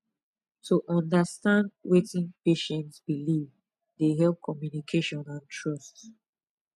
to understand wetin patient believe dey help communication and trust